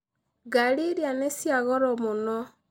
Ngari iria nĩ cia goro mũno.